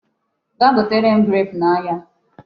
Gaa gotere m grape n'ahịa.